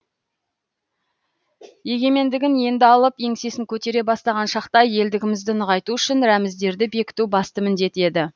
егенмендігін енді алып еңсесін көтере бастаған шақта елдігімізді нығайту үшін рәміздерді бекіту басты міндет еді